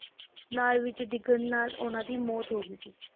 ਨਾਲੇ ਵਿਚ ਡਿੱਗਣ ਨਾਲ ਉਹਨਾਂ ਦੀ ਮੌਤ ਹੋ ਗਈ ਸੀ।